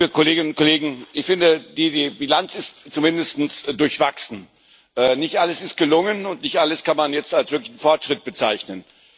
Herr Präsident, liebe Kolleginnen und Kollegen. Ich finde, die Bilanz ist zumindest durchwachsen. Nicht alles ist gelungen, und nicht alles kann man jetzt als wirklichen Fortschritt bezeichnen.